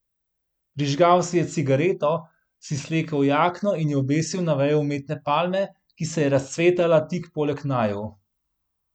Prižgal si je cigareto, si slekel jakno in jo obesil na vejo umetne palme, ki se je razcvetala tik poleg naju.